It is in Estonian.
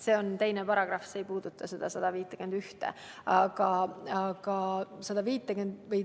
See on teine paragrahv, see ei puuduta § 151.